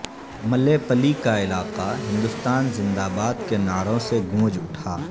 ملے پلی کا علاقہ ہندوستان زندہ باد کے نعروں سے گونج اٹھا